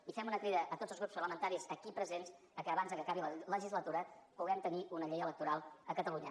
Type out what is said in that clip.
i fem una crida a tots els grups parlamentaris aquí presents perquè abans que acabi la legislatura puguem tenir una llei electoral a catalunya